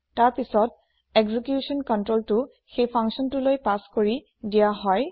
তাৰ পাছত একজিকিুছন কন্ত্ৰোলটো সেই functionটোলৈ পাছ কৰি দিয়া হয়